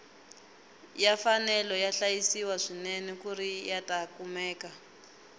ya fanele ya hlayisiwa swinene kuri yata kumeka